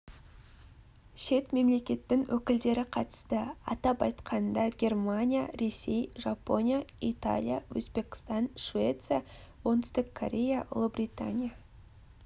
шет мемлекеттің өкілдері қатысты атап айтқанда германия ресей жапония италия өзбекстан швеция оңтүстік корея ұлыбритания